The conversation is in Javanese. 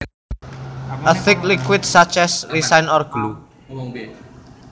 A thick liquid such as a resin or glue